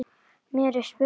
Mér er spurn.